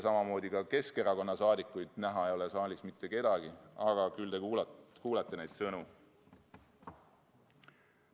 Samamoodi ei ole ka Keskerakonna liikmetest näha saalis mitte kedagi, aga küllap te kuulete neid sõnu.